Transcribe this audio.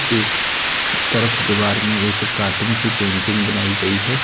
एक तरफ दीवार में एक कार्टून की पेंटिंग बनाई गई है।